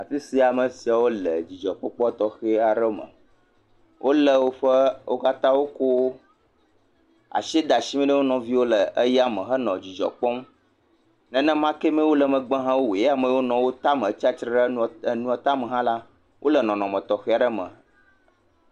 Afi sia amesiawo le dzidzɔ kpɔkpɔ tɔxɛ aɖe me wo katã wokɔ asi de asi me na wonɔviwo le yame henɔ dzidzɔ kpɔm nenemake ame yiwo le megbe ha wowoe ame yiwo nɔ wo tame tia titre ɖe nua tame ha la wole nɔnɔme tɔxɛ aɖe me